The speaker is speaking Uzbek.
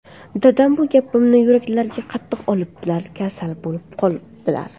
Dadam bu gapimni yuraklariga qattiq olibdilar, kasal bo‘lib qoldilar.